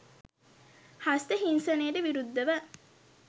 "හස්ත හිංසනයට" විරුද්ධව?